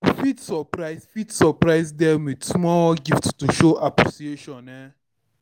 You fit surprise fit surprise them with small gift to show appreciation um